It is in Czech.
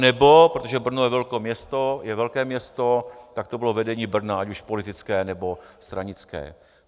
Anebo, protože Brno je velké město, tak to bylo vedení Brna, ať už politické, nebo stranické.